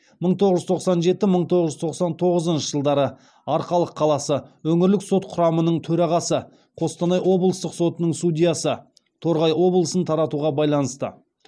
мың тоғыз жүз тоқсан жеті мың тоғыз жүз тоқсан тоғызыншы жылдары арқалық қаласы өңірлік сот құрамының төрағасы қостанай облыстық сотының судьясы торғай облысын таратуға байланысты